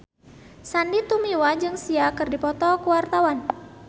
Sandy Tumiwa jeung Sia keur dipoto ku wartawan